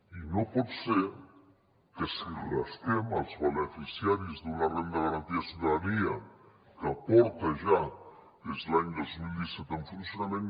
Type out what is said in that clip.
i no pot ser que si rasquem els beneficiaris d’una renda garantida de ciutadania que porta ja des de l’any dos mil disset en funcionament